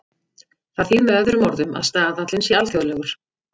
Það þýðir með öðrum orðum að staðallinn sé alþjóðlegur.